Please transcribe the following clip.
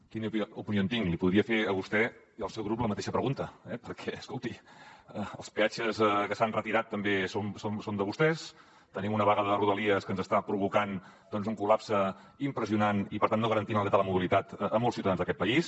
quina opinió en tinc li podria fer a vostè i al seu grup la mateixa pregunta eh perquè escolti els peatges que s’han retirat també són de vostès tenim una vaga de rodalies que ens està provocant un collapse impressionant i per tant no garantint el dret a la mobilitat a molts ciutadans d’aquest país